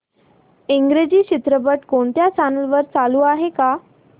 इंग्रजी चित्रपट कोणत्या चॅनल वर चालू आहे का